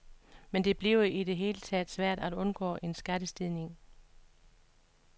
Men det bliver i det hele taget svært at undgå en skattestigning.